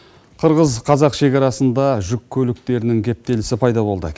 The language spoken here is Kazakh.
қырғыз қазақ шекарасында жүк көліктерінің кептелісі пайда болды